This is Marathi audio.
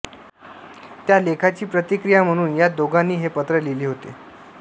त्या लेखाची प्रतिक्रिया म्हणून या दोघांनी हे पत्र लिहिले होते